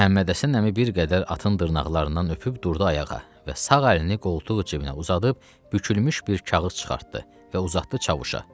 Məhəmmədhəsən əmi bir qədər atın dırnaqlarından öpüb durdu ayağa və sağ əlini qoltuq cibinə uzadıb bükülmüş bir kağız çıxartdı və uzatdı Çavuşa.